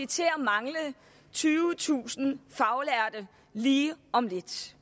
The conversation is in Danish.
til at mangle tyvetusind faglærte lige om lidt